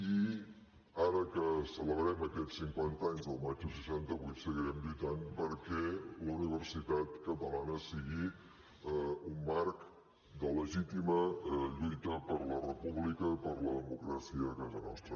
i ara que celebrem aquests cinquanta anys del maig del seixanta vuit seguirem lluitant perquè la universitat catalana sigui un marc de legítima lluita per la república i per la democràcia a casa nostra